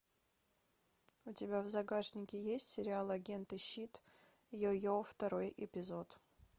у тебя в загашнике есть сериал агенты щит йо йо второй эпизод